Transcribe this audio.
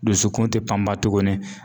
Dusukun te panpan tuguni